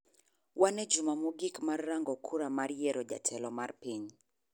Wan e juma mogik mar rango kura mar yiero jatelo mar piny.